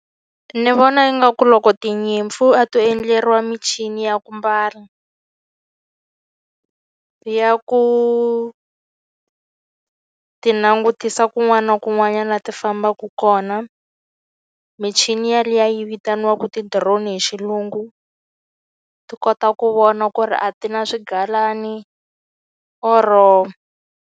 Ni vona ingaku loko tinyimpfu a to endleriwa michini ya ku mbala ya ku ti langutisa kun'wana na kun'wana laha ti fambaka kona, michini yaliya yi vitaniwaka ti-drone hi xilungu. Ti kota ku vona ku ri a ti na swigalani or-o.